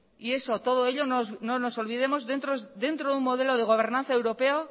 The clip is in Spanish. y eso todo ello no nos olvidemos dentro de un modelo de gobernanza europeo